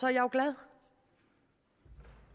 jeg jo glad